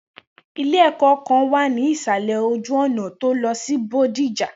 Ile ẹ̀kọ́ kan wà ní ìsàlè ojú ọ̀nà tó lọ sí bodija